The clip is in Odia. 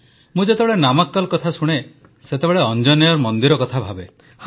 ମୁଁ ଯେତେବେଳେ ନାମାକ୍କଲ୍ କଥା ଶୁଣେ ସେତେବେଳେ ଅଞ୍ଜନେୟର୍ ମନ୍ଦିର କଥା ଭାବେ